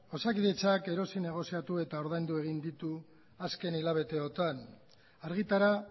osakidetzak erosi negoziatu eta ordaindu egin ditu azken hilabeteotan argitara